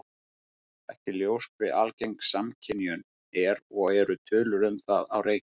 Ekki er ljóst hve algeng samskynjun er og eru tölur um það á reiki.